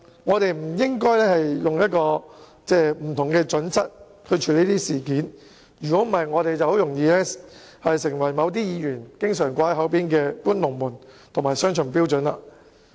我們不應採取不同準則處理這類事件，否則我們便很容易犯了某些議員口中常說的"搬龍門"及採用雙重標準的毛病。